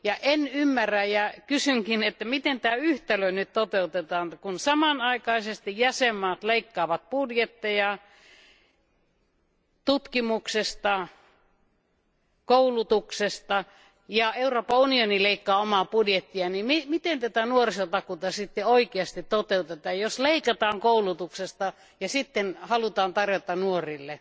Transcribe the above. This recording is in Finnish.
En ymmärrä ja kysynkin, että miten tämä yhtälö nyt toteutetaan, kun samanaikaisesti jäsenvaltiot leikkaavat budjetteja tutkimuksesta, koulutuksesta ja Euroopan unioni leikkaa omaa budjettiaan, niin miten tätä nuorisotakuuta sitten oikeasti toteutetaan, jos leikataan koulutuksesta ja sitten halutaan tarjota nuorille?